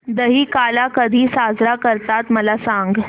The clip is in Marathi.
दहिकाला कधी साजरा करतात मला सांग